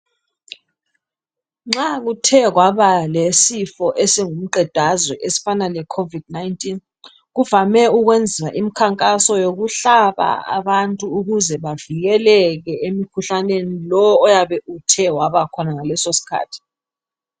Nxa kuthe kwabalesifo esingumqedazwe esifana leCovid 19 kuvame ukwenziwa imikhankaso yokuhlaba abantu ukuze bavikeleke emkhuhlaneni lo oyabe uthe wabakhona ngaleso sikhathi.